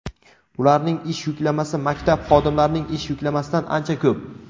ularning ish yuklamasi maktab xodimlarining ish yuklamasidan ancha ko‘p.